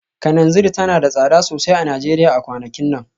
Kananzir tana da tsada sosai a Najeriya a kwanakin nan